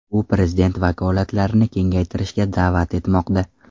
U prezident vakolatlarini kengaytirishga da’vat etmoqda.